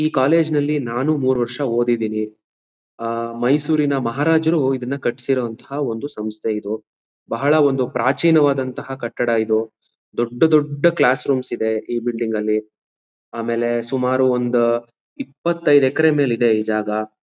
ಈ ಕಾಲೇಜು ಅಲ್ಲಿ ನಾನು ಮೂರು ವರ್ಷ ಓದಿದಿನಿ. ಆ ಆ ಮೈಸೂರಿನ ಮಹಾರಾಜರು ಇದನ ಕಟಿಸಿದ ಒಂದು ಸಂಸ್ಥೆ ಇದು. ಬಹಳ ಒಂದು ಪ್ರಾಚೀನವಾದ ಕಟ್ಟಡ ಇದು ದೊಡ್ದು ದೊಡ್ದು ಕ್ಲಾಸ್ರೂಮ್ಸ್ ಇದೆ ಈ ಬಿಲ್ಡಿಂಗ್ ಅಲ್ಲಿ. ಆಮೇಲೆ ಸುಮಾರು ಒಂದು ಇಪ್ಪತೈದು ಎಕರೆ ಮೇಲೆ ಇದೆ ಈ ಜಾಗ.